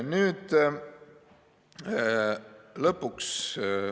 Nüüd lõpuks.